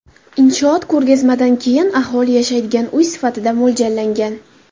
Inshoot ko‘rgazmadan keyin aholi yashaydigan uy sifatida mo‘ljallangan.